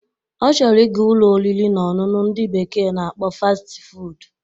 Ọ chọrọ ị ga Ụlọ oriri na ọṅụṅụ ndị bekee na-akpọ Fasti fuud